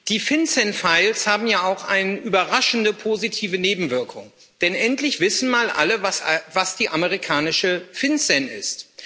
Die FinCEN Files haben ja auch eine überraschend positive Nebenwirkung, denn endlich wissen mal alle, was die amerikanische FinCEN ist.